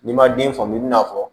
N'i ma den faamu i bɛn'a fɔ